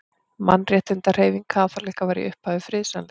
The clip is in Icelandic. Mannréttindahreyfing kaþólikka var í upphafi friðsamleg.